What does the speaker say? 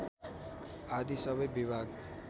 आदि सबै विभाग